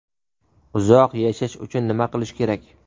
Uzoq yashash uchun nima qilish kerak?.